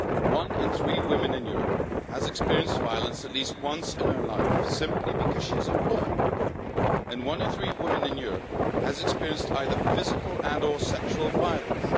One-in-three women in Europe has experienced violence at least once in their life simply because she is a woman, and one-in-three women in Europe has experienced either physical and or sexual violence.